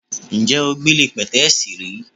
Ǹjé̩ o gbéle pè̩té̩è̩sì rí?